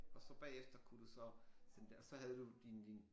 Og så bagefter kunne du så sende det og så havde du din din